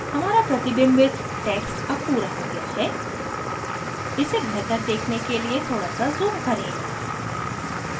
हमारा प्रतिबिंबित text अब पूरा हो गया है इसे बेहतर देखने के लिए थोड़ा सा zoom करें